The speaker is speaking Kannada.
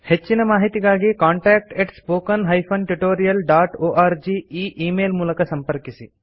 ಹೆಚ್ಚಿನ ಮಾಹಿತಿಗಾಗಿ ಕಾಂಟಾಕ್ಟ್ spoken tutorialorg ಈ ಈ ಮೇಲ್ ಮೂಲಕ ಸಂಪರ್ಕಿಸಿ